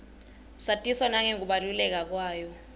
satiswa nangekubaluleka kwayo